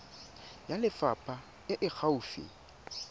ya lefapha e e gaufi